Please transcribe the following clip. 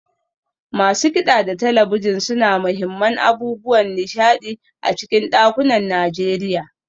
Masu kida da talabijin sune muhimman abubuwan nishadi a cikin dakunan Najeriya.